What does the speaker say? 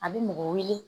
A bɛ mɔgɔ wele